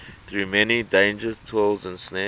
through many dangers toils and snares